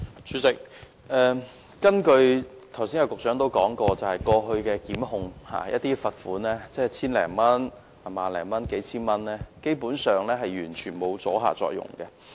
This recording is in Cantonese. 主席，根據局長剛才所說，過去遭檢控的個案的罰款為千多元、數千元或萬多元，基本上完全沒有阻嚇作用。